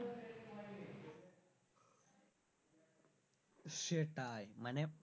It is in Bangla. সেটায়।